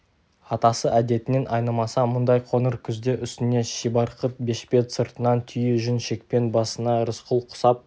атасы әдетінен айнымаса мұндай қоңыр күзде үстіне шибарқыт бешпет сыртынан түйе жүн шекпен басына рысқұл құсап